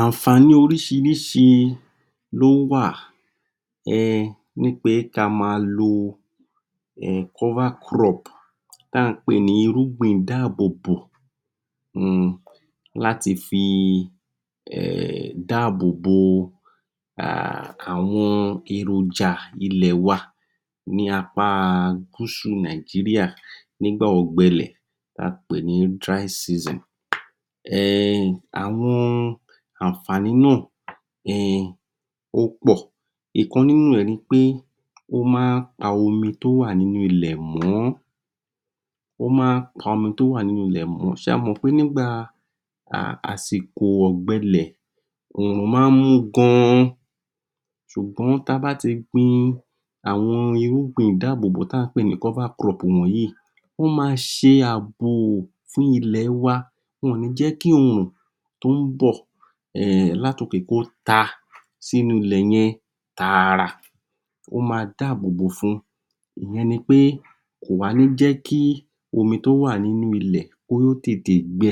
Ànfààní oríṣiríṣi lówà ehh nípé ká á má lo ehh kọ́fá crop tá à ń pè ní irúgbìn ìdáábòbò umm láti fi ehh dáábòò?. Àwọn èròjà ilẹ̀ wa ní apáá gúsù nìgíríà ní gbà ọ̀gbẹlẹ̀ tá n pè ní dry season. ehhh Àwọn ànfààní náà ehhh ọ́pọ̀ ìkan nínú ree nipé o máa n pa omi tó wà nínú ilẹ̀ mọ́, o máa n pa omi tó wà nínú ilẹ̀ mọ́. Ṣé ẹ mọ̀ nígbà àsìkò ọ̀gbẹlẹ̀ oòrùn máa n mú gan sùgbón tá a bá tí gbin àwọn irúgbìn ìdáábòbò tá ǹ pé ní kófá crop wọ̀nyí ó máa ṣe àbò fún ilẹ̀ wa, wọn ò ní jẹ́kí òòrùn tó ún bi láti òkè kó tá lá tòkè sí inú ilẹ̀ yẹn táárá, ó má dáábòbò fún ìyẹn nipé kò ní jẹ́kí omi tó wà nínú ilè kó tètè gbẹ.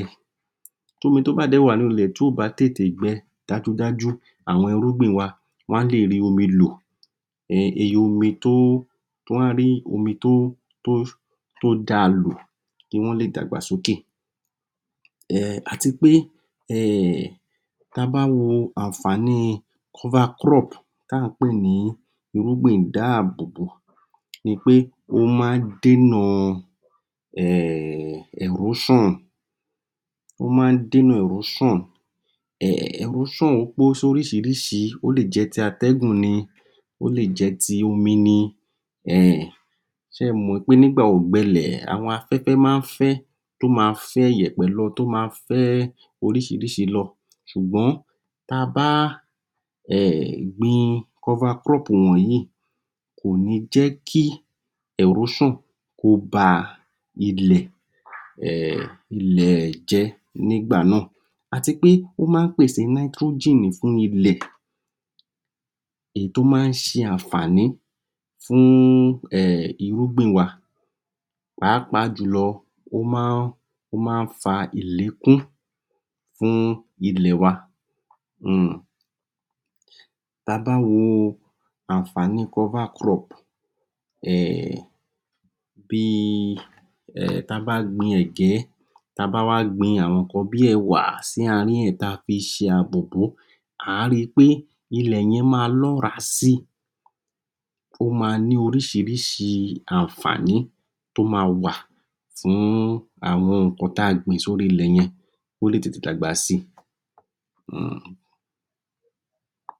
Tí omi tó bá à? wà nínú ilẹ̀ tí kò bá tè tè gbẹ, dájú dájú àwọn irúgbìn wa wọn á lẹ è rí omi lò. ehh omi tó? Wọn á rí omi tó tó daa lò, kí wón lẹ dàgbà sókè, àtipé tí a bá wo ànfàní kófá crop tí à ń pè ní irúgbìn ìdáábòbò nipé ó má ń dè nà ẹ̀róṣàn, ó má ń dè nà ẹ̀róṣàn, ẹ̀róṣàn pín sí oríìṣiríṣí ó le jẹ́ti atẹ́gùn ní. Ó le jẹ́ ti omi ní, ehh ṣe mọ́ o nípé nígbà ọ̀gbẹlẹ̀ àwọn afẹ́fẹ́ má fẹ́ ó má n fẹ ìyèpẹ̀ lọ. Tó má fẹ́ oríṣiríṣi lo sùgbón tá a bá gbin kófá crop wọ̀nyí kò ní jẹ́kí ẹ̀róṣàn kó baa ilẹ̀ jẹ́ nígbà náà.àtipé ó máa n pèsè nítrójìn fún ilẹ̀ èyí tó ma n ṣe ànfààní fún ehh irúgbìn wa.páapáa jùlọ ó má fa? ìlékún fun ilẹ̀ wa. Tá a bá wo ànfàní kófá crop ehh bí ehh tá a báa gbin ẹ̀gée tá a bá wá gbin àwọn ìkan bíi ẹ̀wà sí àárín ẹ̀ tá a fi ṣe ààbò bòó a rí pé ilẹ̀ yẹn máa lọ́raa sí. Ó ma ní oríṣiríṣi ànfàní tó má wà fún àwọn ìkan tá a gbín sí ilẹ̀ yẹn kó lè tètè dàgbà sí.